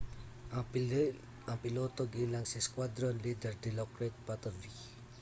ang piloto giilang si squadron leader dilokrit pattavee